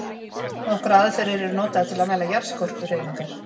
Nokkrar aðferðir eru notaðar til að mæla jarðskorpuhreyfingar.